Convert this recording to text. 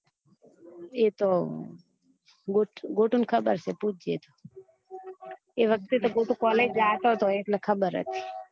એતો ગોતું ને ખબર છે પૂછજે એ તો એ વખ્ત્વે તો ગોતું college જતો હતો એટલે ખબર જ